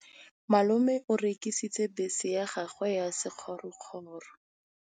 Malome o rekisitse bese ya gagwe ya sekgorokgoro.